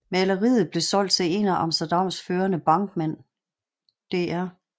Maleriet blev solgt til en af Amsterdams førende bankmænd dr